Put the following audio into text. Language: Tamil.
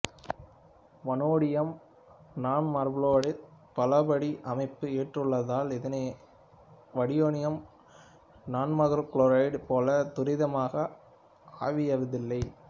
வனேடியம் நான்மபுளோரைடு பலபடி அமைப்பை ஏற்றுள்ளதால் இதனையொத்த வனேடியம் நான்மகுளோரைடு போல துரிதமாக ஆவியாவதில்லை